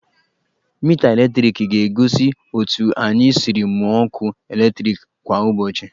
Mita eletriki ga-egosi otu anyị siri mụọ ọkụ eletriki kwa ụbọchị